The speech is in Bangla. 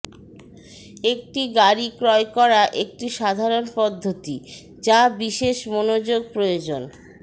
একটি গাড়ী ক্রয় করা একটি সাধারণ পদ্ধতি যা বিশেষ মনোযোগ প্রয়োজন